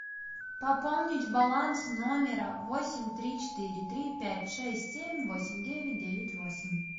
пополнить баланс номера восемь три четыре три пять шесть семь восемь девять девять восемь